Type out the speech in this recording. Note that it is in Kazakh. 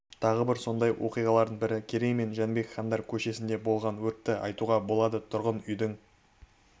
тағы бір сондай оқиғалардың бірі керей мен жәнібек хандар көшесінде болған өртті айтуға болады тұрғын үйдің